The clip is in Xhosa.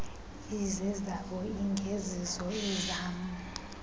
izezabo ingezizo ezam